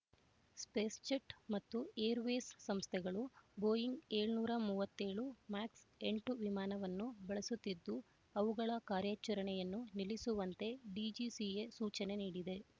SpiceJet ಮತ್ತು Jet Airways ಸಂಸ್ಥೆಗಳು Boeing ಏಳುನೂರ ಮೂವತ್ತ್ ಏಳು ಮ್ಯಾಕ್ಸ್ ಎಂಟು ವಿಮಾನವನ್ನು ಬಳಸುತ್ತಿದ್ದು ಅವುಗಳ ಕಾರ್ಯಾಚರಣೆಯನ್ನು ನಿಲ್ಲಿಸುವಂತೆ ಡಿಜಿಸಿಎ ಸೂಚನೆ ನೀಡಿದೆ